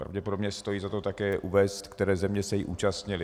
Pravděpodobně stojí za to také uvést, které země se jí účastnily.